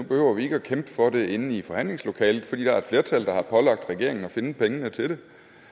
behøver vi ikke at kæmpe for det inde i forhandlingslokalet fordi der er et flertal der har pålagt regeringen at finde pengene til